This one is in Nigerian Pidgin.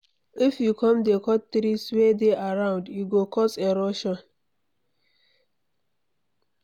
If we come dey cut trees wey dey around, e go cos erosion